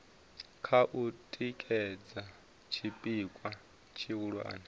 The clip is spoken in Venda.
kha u tikedza tshipikwa tshihulwane